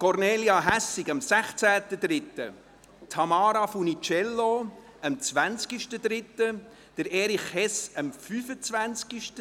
Kornelia Hässig hatte am 16. März Geburtstag, Tamara Funiciello am 20. März und Erich Hess am 25. März.